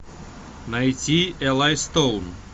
найти элай стоун